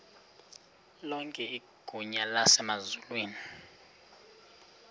lonke igunya emazulwini